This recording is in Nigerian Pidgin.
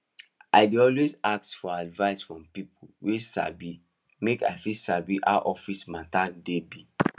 i dey always ask for advice from people wey sabi make i fit sabi how office matter dey be